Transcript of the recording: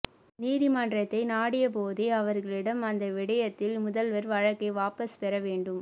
நீதிமன்றத்தை நாடிய போதே அவர்களிடம் அந்த விடயத்தில் முதல்வர் வழக்கை வாபஸ் பெற வேண்டும்